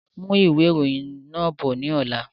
Mú ìwé ìròyìn náà bọ̀ ni ọ̀la!